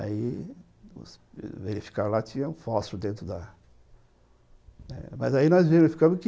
Aí verificaram lá, tinha um fósforo dentro da... Mas aí nós verificamos que